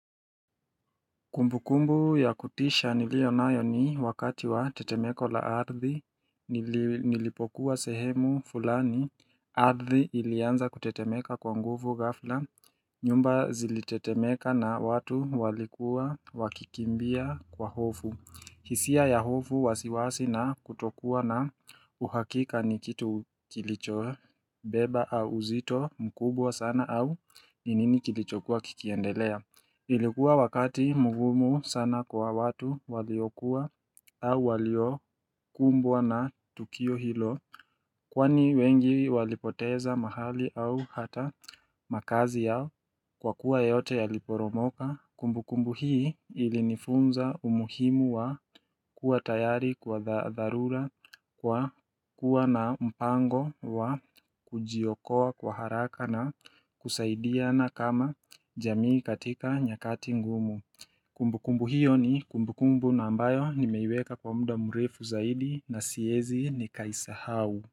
Kumbukumbu ya kutisha nilionayo ni wakati wa tetemeko la ardhi, nilipokuwa sehemu fulani, ardhi ilianza kutetemeka kwa nguvu ghafla, nyumba zilitetemeka na watu walikuwa wakikimbia kwa hofu hisia ya hofu wasiwasi na kutokuwa na uhakika ni kitu kilicho beba au uzito mkubwa sana au ni nini kilichokuwa kikiendelea Ilikuwa wakati mugumu sana kwa watu waliokuwa au waliokumbwa na tukio hilo Kwani wengi walipoteza mahali au hata makazi yao kwa kuwa yote yaliporomoka. Kumbukumbu hii ilinifunza umuhimu wa kuwa tayari kwa dharura. Kwa kuwa na mpango wa kujiokoa kwa haraka na kusaidia na kama jamii katika nyakati ngumu Kumbukumbu hiyo ni kumbukumbu na ambayo nimeiweka kwa mda mrefu zaidi na siezi nikaisahau.